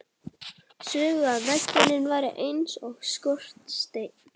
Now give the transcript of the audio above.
Sögðu að veggirnir væru eins og skorsteinn.